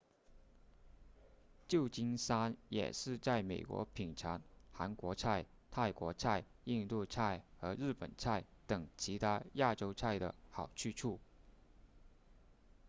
旧金山也是在美国品尝韩国菜泰国菜印度菜和日本菜等其他亚洲菜的好去处